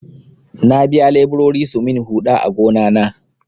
Na biya leburori su min huɗa a gona na.